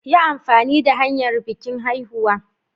Yi amfani da hanyar bikin haihuwa.